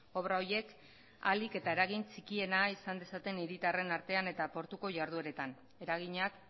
obra horiek ahalik eta eragin txikienak izan dezaten hiritarren artean eta portuko ihardueretan eraginak